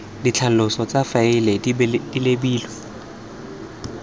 ditlhaloso tsa faele di lebilwe